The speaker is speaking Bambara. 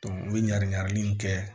u bɛ ɲan ɲagami kɛ